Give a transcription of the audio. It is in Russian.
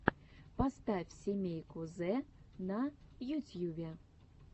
поставь семейку зэ на ютьюбе